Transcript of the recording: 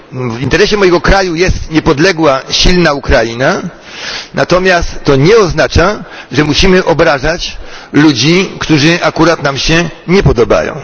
W interesie mojego kraju jest niepodległa, silna Ukraina, natomiast to nie oznacza, że musimy obrażać ludzi, którzy akurat nam się nie podobają.